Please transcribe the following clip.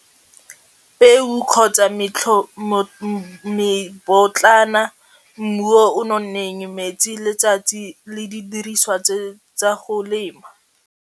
Peo kgotsa mmu yo o nonneng, metsi, letsatsi le didiriswa tse tsa go lema